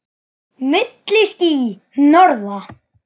Milli ský- hnoðra.